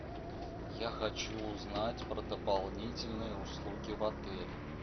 я хочу узнать про дополнительные услуги в отеле